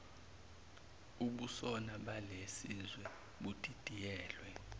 ubusona balesizwe budidiyelwe